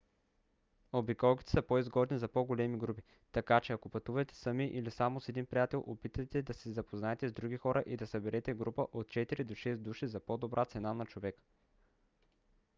обиколките са по-изгодни за по-големи групи така че ако пътувате сами или само с един приятел опитайте да се запознаете с други хора и да съберете група от четири до шест души за по-добра цена на човек